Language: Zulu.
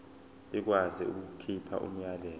ikwazi ukukhipha umyalelo